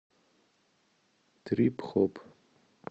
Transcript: трип хоп